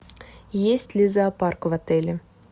есть ли зоопарк в отеле